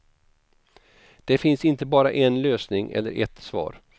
Det finns inte bara en lösning eller ett svar.